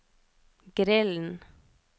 grillen